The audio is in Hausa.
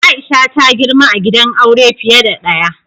Aisha ta girma a gidan aure fiye da ɗaya.